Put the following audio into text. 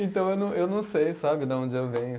Então, eu não, eu não sei, sabe, de onde eu venho.